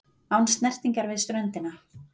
Án snertingar við ströndina.